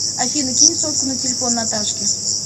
афина кинь сотку на телефон наташке